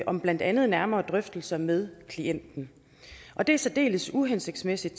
om blandt andet nærmere drøftelser med klienten det er særdeles uhensigtsmæssigt